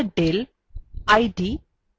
id du